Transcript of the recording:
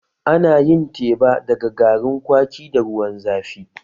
Ana yin teba daga garin kwaki da ruwan zafi